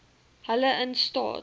hulle in staat